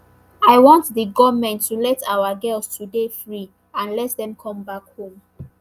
i want di goment to let our girls to dey free and let dem come back home